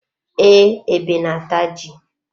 Ee, ebe na-ata ji.